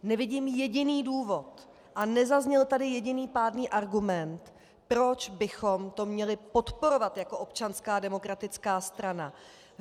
Nevidím jediný důvod a nezazněl tady jediný pádný argument, proč bychom to měli podporovat jako Občanská demokratická strana.